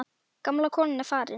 Gamla konan er farin.